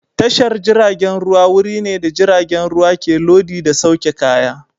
Tashar jiragen ruwa wuri ne da jiragen ruwa ke lodi da sauke kaya.